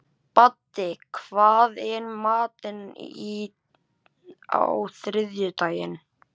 Baddi, hvað er í matinn á þriðjudaginn?